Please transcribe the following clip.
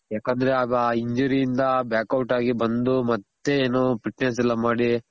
ಯಾಕಂದ್ರೆ ಆಗ injury ಯಿಂದ back out ಗಿ ಬಂದು ಮತ್ತೆ ಏನು fitness ಎಲ್ಲ ಮಾಡಿ